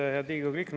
Head Riigikogu liikmed!